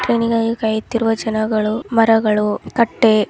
ಟ್ರೈನಿಗಾಗಿ ಕಾಯುತ್ತಿರುವ ಜನಗಳು ಮರಗಳು ಕಟ್ಟೆ --